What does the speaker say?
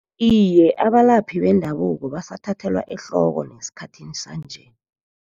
Iye, abalaphi bendabuko basathathelwa ehloko nesikhathini sanje.